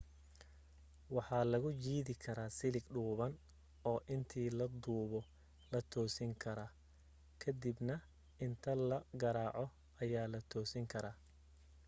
waxaa lagu jiidi karaa silig dhuuban oo intii la duubo la toosin kara ka dib na inta la garaaco ayaa la toosin karaa